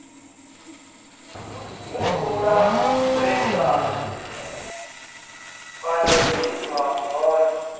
humbula zwe nda pandeliswa zwone